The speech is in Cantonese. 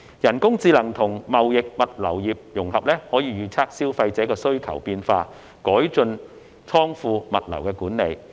人工智能與貿易、物流業融合，可以預測消費者需求的變化，改進倉庫、物流管理。